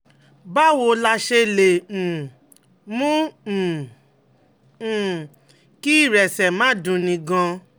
Báwo la ṣe lè um mú um um kí ìrẹsẹ̀ máa dunni gan-an?